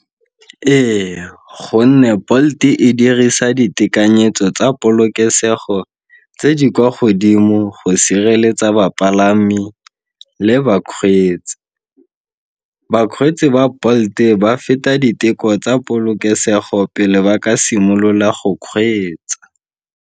Ee, gonne Bolt-e dirisa ditekanyetso tsa polokesego tse di kwa godimo go sireletsa bapalami le bakgweetsi. Bakgweetsi ba Bolt-e ba feta diteko tsa polokesego pele ba ka simolola go kgweetsa.